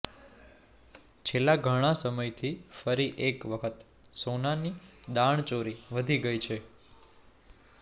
છેલ્લા ઘણા સમયથી ફરી એક વખત સોનાની દાણચોરી વધી ગઇ છે